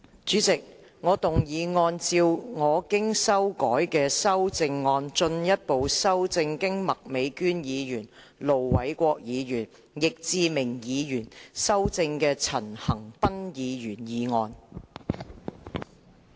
主席，我動議按照我經修改的修正案，進一步修正經麥美娟議員、盧偉國議員及易志明議員修正的陳恒鑌議員議案。